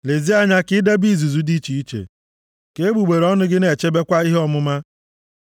Lezie anya, ka i debe izuzu dị iche iche, ka egbugbere ọnụ gị na-echebekwa ihe ọmụma. + 5:2 \+xt Mal 2:7\+xt*